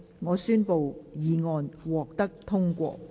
我宣布議案獲得通過。